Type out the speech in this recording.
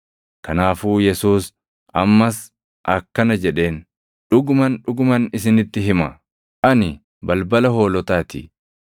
Kanaafuu Yesuus ammas akkana jedheen; “Dhuguman, dhuguman isinitti hima; ani balbala hoolotaa ti.